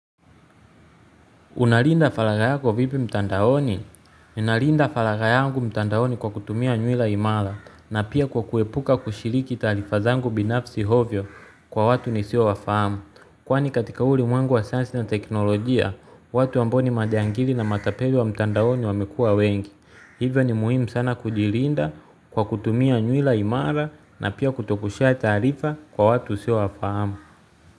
Unalinda falagha yako vipi mtandaoni? Unalinda falagha yangu mtandaoni kwa kutumia nywila imara na pia kwa kuepuka kushiriki taarifa zangu binafsi ovyo kwa watu nisiowafahamu. Kwani katika huu ulimwengu wa sasa na teknolojia, watu ambao ni majangili na matapeli wa mtandaoni wamekua wengi. Hivyo ni muhimu sana kujilinda kwa kutumia nywila imara na pia kutoku share taarifa kwa watu usiowafahamu.